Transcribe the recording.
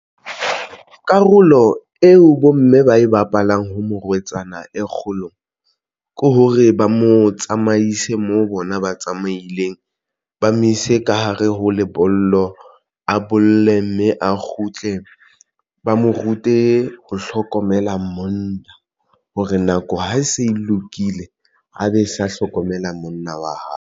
Karolo eo bomme ba e bapalang ho morwetsana e kgolo ke hore ba mo tsamaise moo bona ba tsamaileng ba mo ise ka hare ho lebollo a bolle, mme a kgutle ba mo rute ho hlokomela monna hore nako ha e se e lokile a be sa hlokomela monna wa hae.